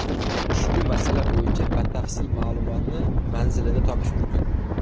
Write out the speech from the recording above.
Ushbu masala bo‘yicha batafsil ma’lumotni manzilida topish mumkin.